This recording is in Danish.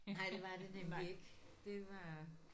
Nej det var det nemlig ikke. Det var